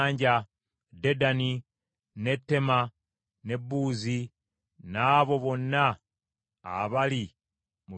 Dedani, n’e Teema, n’e Buuzi n’abo bonna abali mu bifo eby’ewala,